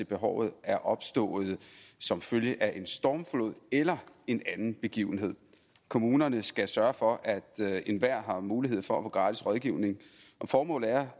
behovet er opstået som følge af en stormflod eller en anden begivenhed kommunerne skal sørge for at enhver har mulighed for at få gratis rådgivning formålet er